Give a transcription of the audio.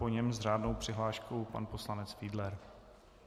Po něm s řádnou přihláškou pan poslanec Fiedler.